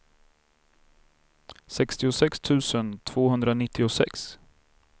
sextiosex tusen tvåhundranittiosex